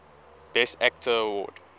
best actor award